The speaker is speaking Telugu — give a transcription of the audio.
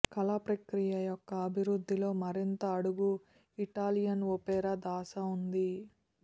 కళా ప్రక్రియ యొక్క అభివృద్ధిలో మరింత అడుగు ఇటాలియన్ ఒపేరా దాస ఉంది